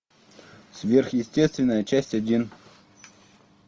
сверхъестественное часть один